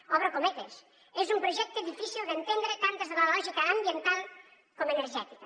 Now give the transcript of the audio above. obro cometes és un projecte difícil d’entendre tant des de la lògica ambiental com energètica